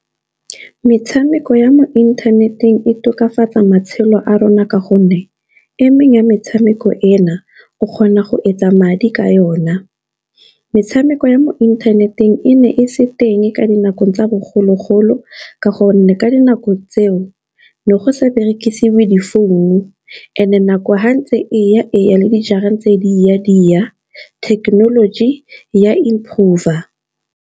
Metshameko ya mo inthaneteng e tokafatsa matshelo a rona ka gonne, emeng ya metshameko ena o kgona go etsa madi ka yona. Metshameko ya mo inthaneteng e ne e se teng, ka di nakong tsa bogologolo, ka gonne ka dinako tseo ne go sa berekisiwe di-phone-u. And-e nako ha ntse eya eya le dijara tse di ya di thekenoloji ya improve-a.